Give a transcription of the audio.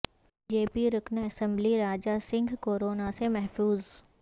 be J P رکن اسمبلی Raja Singh corona سے محفوظ